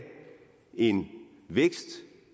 en vækst